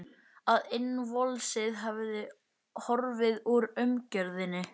Að innvolsið hefði horfið úr umgjörðinni.